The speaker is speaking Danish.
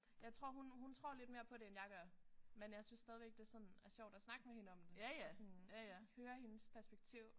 Jeg tror hun hun tror lidt mere på det end jeg gør men jeg synes stadigvæk det sådan er sjovt at snakke med hende om det og sådan høre hendes perspektiv